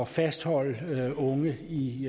fastholde unge i